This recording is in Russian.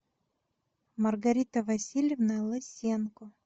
маргарита васильевна лысенко